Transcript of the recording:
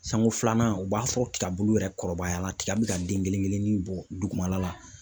Siɲanko filanan , u b'a sɔrɔ tiga bulu yɛrɛ kɔrɔbaya la, tiga bi ka den kelen kelennin bɔ dugumala la.